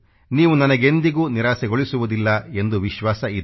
ನೀವು ನನಗೆಂದಿಗೂ ನಿರಾಸೆಗೊಳಿಸುವುದಿಲ್ಲ ಎಂದು ವಿಶ್ವಾಸವಿದೆ